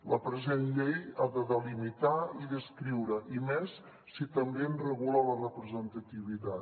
la present llei ha de delimitar i descriure i més si també en regula la representativitat